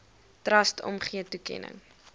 trust omgee toekenning